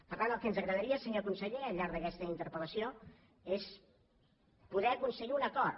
per tant el que ens agradaria senyor conseller al llarg d’aquesta interpel·lació és poder aconseguir un acord